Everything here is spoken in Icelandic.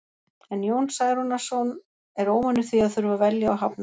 En Jón Særúnarson er óvanur því að þurfa að velja og hafna.